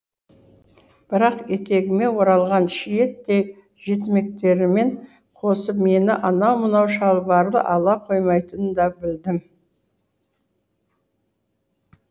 бірақ етегіме оралған шиеттей жетімектеріммен қосып мені анау мынау шалбарлы ала қоймайтынын да білдім